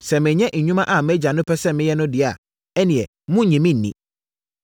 Sɛ menyɛ nnwuma a mʼAgya pɛ sɛ meyɛ no deɛ a, ɛnneɛ monnnye me nni.